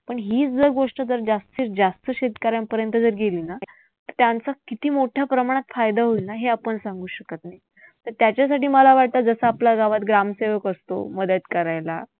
पण हीच जर गोष्ट जर जास्तीतजास्त शेतकऱ्यांपर्यंत जर गेली ना त्यांचा किती मोठ्या प्रमाणात फायदा होईल ना हे आपण सांगू शकत नाही. तर त्याच्यासाठी मला वाटतं, जसं आपल्या गावात ग्रामसेवक असतो मदत करायला